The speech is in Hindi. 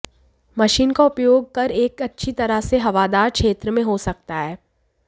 मशीन का उपयोग कर एक अच्छी तरह से हवादार क्षेत्र में हो सकता है